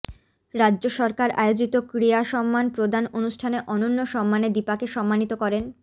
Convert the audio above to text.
রাজ্য সরকার আয়োজিত ক্রীড়াসন্মান প্রদান অনুষ্ঠানে অনন্য সন্মানে দীপাকে সন্মানিত করেন